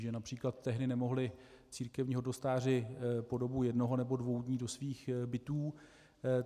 Že například tehdy nemohli církevní hodnostáři po dobu jednoho nebo dvou dnů do svých bytů.